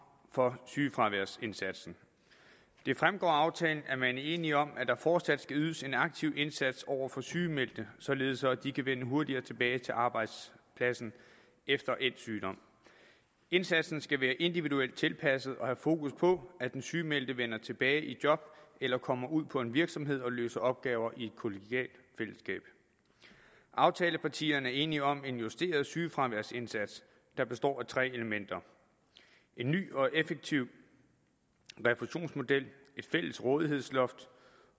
for sygefraværsindsatsen det fremgår af aftalen at man er enige om at der fortsat skal ydes en aktiv indsats over for sygemeldte således at de kan vende hurtigere tilbage til arbejdspladsen efter endt sygdom indsatsen skal være individuelt tilpasset og have fokus på at den sygemeldte vender tilbage i job eller kommer ud på en virksomhed og løser opgaver i et kollegialt fællesskab aftalepartierne er enige om en justeret sygefraværsindsats der består af tre elementer en ny og effektiv refusionsmodel et fælles rådighedsloft